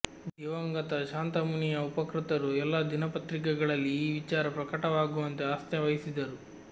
ದಿವಂಗತ ಶಾಂತಮುನಿಯ ಉಪಕೃತರು ಎಲ್ಲದಿನಪತ್ರಿಕೆಗಳಲ್ಲಿ ಈ ವಿಚಾರ ಪ್ರಕಟವಾಗುವಂತೆ ಆಸ್ಥೆ ವಹಿಸಿದರು